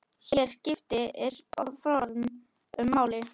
Hér skiptir form máli.